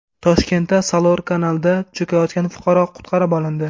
Toshkentda Salor kanalida cho‘kayotgan fuqaro qutqarib olindi.